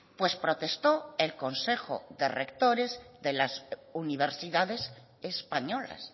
pues protestó el consejo de rectores de las universidades españolas